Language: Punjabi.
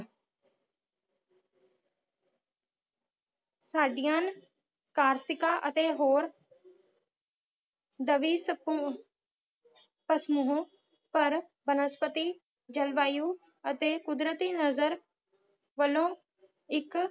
ਸਾਡੀਆਂ ਕਾਰਤੀਕਾ ਅਤੇ ਹੋਰ ਦਬੀ ਸਪੁ ਫਾਸਮੁਹੋ ਪਰ ਬਨਸਪਤੀ ਜਲਵਾਯੂ ਅਤੇ ਕੁਦਰਤੀ ਨਜ਼ਰ ਵਲੋਂ ਇਕ